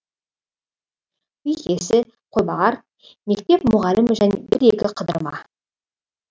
үй иесі қойбағар мектеп мұғалімі және бір екі қыдырма